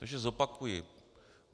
Takže zopakuji.